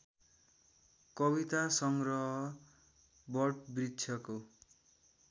कविता सङ्ग्रह वटवृक्षको